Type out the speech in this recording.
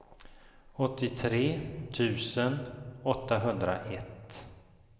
åttiotre tusen åttahundraett